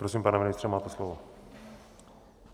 Prosím, pane ministře, máte slovo.